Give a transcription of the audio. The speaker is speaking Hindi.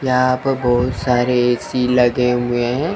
यहां प बहुत सारे ए_सी लगे हुए हैं।